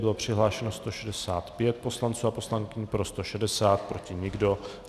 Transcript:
Bylo přihlášeno 165 poslanců a poslankyň, pro 160, proti nikdo.